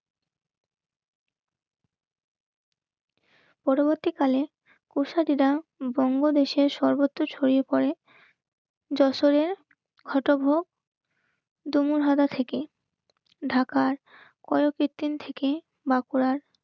পরবর্তীকালে বঙ্গদেশে সর্বত্র ছড়িয়ে পরে. যশোরের হতভোগ ডুমুরহারা থেকে ঢাকার কয়কদিন থেকে বাঁকুড়ার